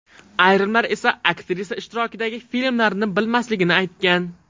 Ayrimlar esa aktrisa ishtirokidagi filmlarni bilmasligini aytgan.